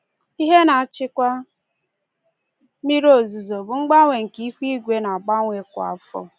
Ihe na-achịkwa mmiri ozuzo bụ mgbanwe nke ihu igwe na-agbanwe kwa afọ